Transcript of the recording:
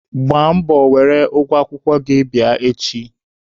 Gbaa mbọ were ụgwọ akwụkwọ gị bịa echi!